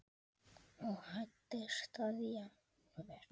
og hæddist að jafnvel